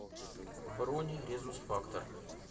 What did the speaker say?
бронь резус фактор